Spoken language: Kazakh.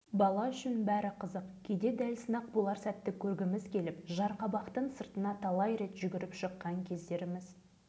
ертеңіне айтылған уақытта бүкіл ауыл адамдары тайлы-тұяғымыз қалмай киіз көрпелерімізді алып ертістің жағасындағы жарқабақтың астына барып жасырынатынбыз